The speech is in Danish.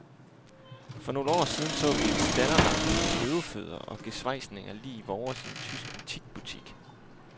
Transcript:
For nogle år siden så vi en standerlampe med løvefødder og gesvejsninger lig vores i en tysk antikbutik.